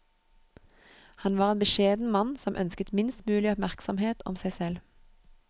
Han var en beskjeden mann som ønsket minst mulig oppmerksomhet om seg selv.